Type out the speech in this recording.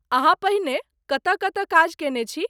अहाँ पहिने कतय कतय काज कयने छी?